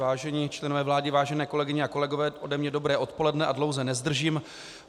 Vážení členové vlády, vážené kolegyně a kolegové, ode mne dobré odpoledne a dlouze nezdržím.